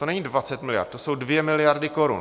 To není 20 miliard, to jsou 2 miliardy korun.